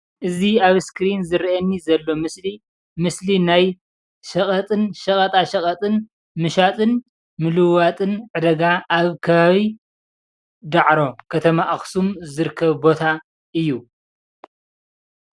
እዚ ኣብ እስክሪን ዝረአየኒ ዘሎ ምስሊ ምስሊ ናይ ሸቀጣ ሸቀጥን ምሻጥን ምልውዋጥን ዕዳጋ ኣብ ከባቢ ዳዕሮ ከተማ ኣክሱም ዝርከብ ቦታ እዩ፡፡